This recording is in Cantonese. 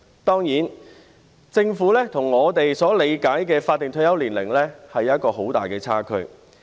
當然，政府跟我們在理解法定退休年齡上有一個很大的差距。